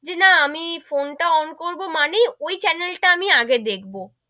যে না আমি ফোন টা on করবো মানেই ওই channel টা আমি আগে দেখবো,